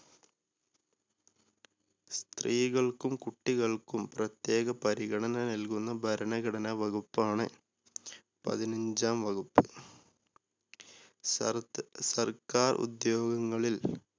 സ്ത്രീകൾക്കും കുട്ടികൾക്കും പ്രത്യേക പരിഗണന നല്കുന്ന ഭരണഘടനാ വകുപ്പാണ് പതിനഞ്ചാം വകുപ്പ്. സർ സർക്കാർ ഉദ്യോഗങ്ങളിൽ